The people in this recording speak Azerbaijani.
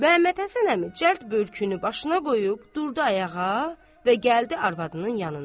Məmmədhəsən əmi cəld börkünü başına qoyub durdu ayağa və gəldi arvadının yanına.